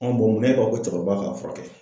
mun na e b'a fɔ ko cɛkɔrɔba ka furakɛ?